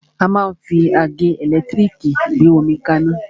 A máa ń fi àgẹ́ ẹ̀lẹ́tírìkì gbé omi kaná.